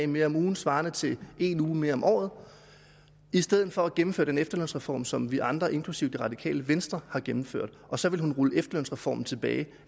mere om ugen svarende til en uge mere om året i stedet for at gennemføre den efterlønsreform som vi andre inklusive det radikale venstre har gennemført og så vil hun rulle efterlønsreformen tilbage